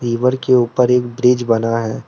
River के ऊपर एक ब्रिज बना है।